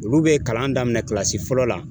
Olu be kalan daminɛ kilasi fɔlɔ la